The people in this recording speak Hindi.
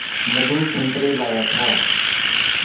मधु संतरे लाया था